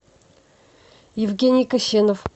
евгений кощенов